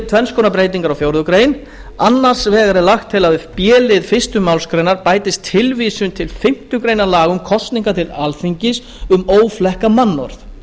tvenns konar breytingar á fjórðu grein annars vegar er lagt til að við b lið fyrstu málsgrein bætist tilvísun til fimmtu grein laga um kosningar til alþingis um óflekkað mannorð